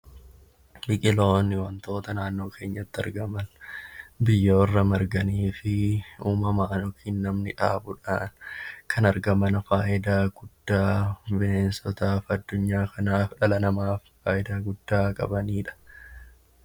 Biqiloonni wantoota naannoo keenyatti argaman biyyoorra marganii fi uumama yookaan namni dhaabuudhaankan argaman fayidaa guddaa bineensotaaf addunyaa kanaaf dhala namaaf fayidaa guddaa qabanidha.